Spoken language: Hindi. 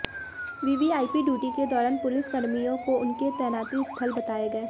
वीवीआईपी ड्यूटी के दौरान पुलिस कर्मियों को उनके तैनाती स्थल बताए गए